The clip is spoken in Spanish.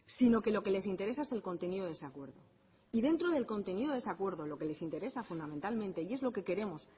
sino que lo que les interesa es el contenido de ese acuerdo y dentro del contenido de ese acuerdo lo que les interesa fundamentalmente y es lo que queremos